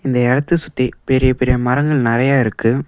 இந்த இடத்தை சுத்தி பெரிய பெரிய மரங்க நெறைய இருக்கு.